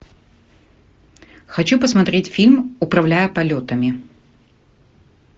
хочу посмотреть фильм управляя полетами